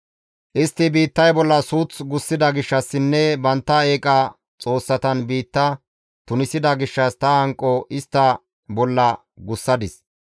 Istti biittay bolla suuth gussida gishshassinne bantta eeqa xoossatan biitta tunisida gishshas ta hanqo istta bolla gussadis.